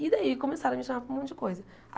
E daí começaram a me chamar para um monte de coisa.